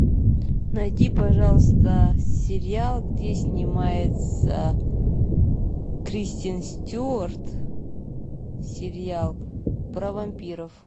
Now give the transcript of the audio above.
найди пожалуйста сериал где снимается кристен стюарт сериал про вампиров